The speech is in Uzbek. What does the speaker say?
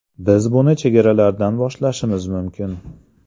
Biz buni chegaralardan boshlashimiz mumkin.